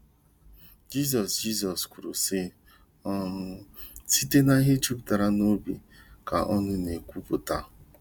Jizọs Jizọs kwurusị: um “ Site n’ihe jupụtara n’obi ka ọnụ na-ekwuputa .”